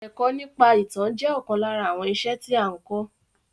Èkọ́ nípa ìtàn jẹ́ ọ̀kan lára àwọn iṣẹ́ tí a n kọ́.